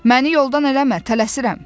Məni yoldan eləmə, tələsirəm.